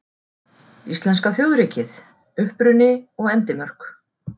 Íslenska þjóðríkið: Uppruni og endimörk.